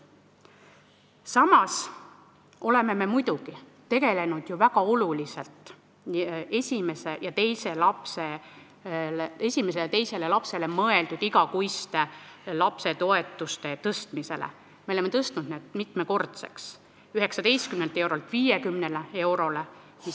Samas oleme muidugi ju väga oluliselt tegelenud esimese ja teise lapse igakuiste toetuste tõstmisega, me oleme tõstnud need mitmekordseks: 19 eurolt 50 eurole.